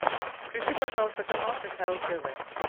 включи пожалуйста канал кхл тв